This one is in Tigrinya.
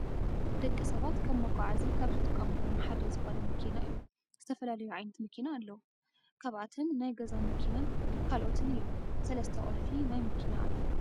ንደቂ ሰባት ከም መጋዓዚ ካብ ዝጥቀምሎም ሓደ ዝኮነ መኪና እዩ። ዝተፈላለዩ ዓይነት መኪና ኣለዋ። ካብኣተን ናይ ገዛ መኪናን ካልኦትን እዮም። ሰለስተ ቁልፊ ናይ መኪና ኣሎ።